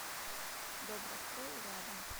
добрострой рядом